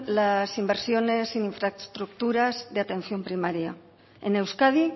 las inversiones en infraestructuras de atención primaria en euskadi